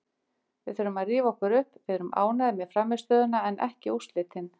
Við þurfum að rífa okkur upp, við erum ánægðir með frammistöðuna en ekki úrslitin.